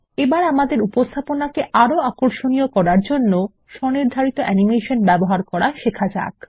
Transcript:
এবার আমাদের উপস্থাপনাকে আরো আকর্ষণীয় করার জন্য স্বনির্ধারিত অ্যানিমেশন ব্যবহার করা শেখা যাক